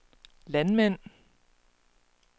landmænd